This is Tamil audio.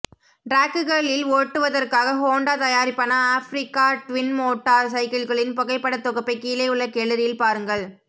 டிராக்குகளில் ஓட்டுவதற்காக ஹோண்டா தயாரிப்பான ஆஃபிரிக்க ட்வின் மோட்டார் சைக்கிள்களின் புகைப்பட தொகுப்பை கீழே உள்ள கேலரியில் பாருங்கள்